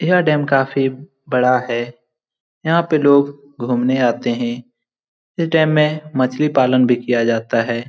यह डैम काफी बड़ा है। यहाँ पे लोग घुमने आते हैं। यह डैम में मछली पालन भी किया जाता है।